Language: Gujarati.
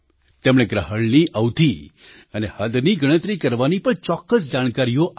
તેમણે ગ્રહણની અવધિ અને હદની ગણતરી કરવાની પણ ચોક્કસ જાણકારીઓ આપી